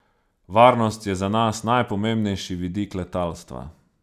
Varnost je za nas najpomembnejši vidik letalstva.